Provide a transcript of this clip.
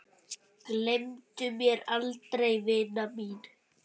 Gleymdu mér aldrei vina mín.